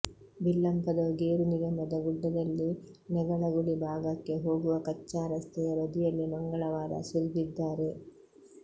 ಬಿಲ್ಲಂಪದವು ಗೇರು ನಿಗಮದ ಗುಡ್ಡದಲ್ಲಿ ನೆಗಳಗುಳಿ ಭಾಗಕ್ಕೆ ಹೋಗುವ ಕಚ್ಛಾ ರಸ್ತೆಯ ಬದಿಯಲ್ಲೇ ಮಂಗಳವಾರ ಸುರಿದಿದ್ದಾರೆ